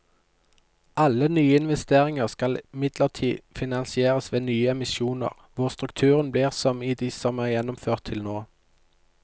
Alle nye investeringer skal imidlertid finansieres ved nye emisjoner, hvor strukturen blir som i de som er gjennomført til nå.